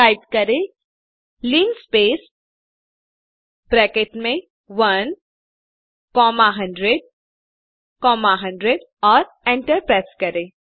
type करें linspace bracket में 1 comma 100 comma 100 और एंटर प्रेस करें